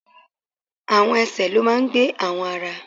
Àwọn ẹsẹ̀ ló máa ń gbé àwọn ara.